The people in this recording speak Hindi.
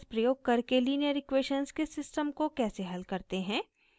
iterative मेथड्स प्रयोग करके लीनियर इक्वेशन्स के सिस्टम को कैसे हल करते हैं